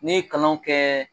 Ne ye kalanw kɛ